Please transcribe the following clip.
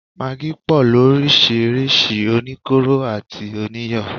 Magí pọ̀ lóríṣirísi, oníkóró àti oníyọ̀